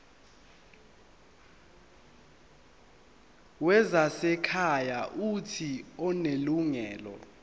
wezasekhaya uuthi unelungelo